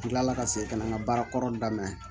Tilala ka segin ka na n ka baarakɔrɔ daminɛ